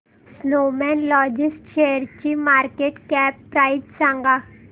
Snowman logistics शेअरची market cap price सांगा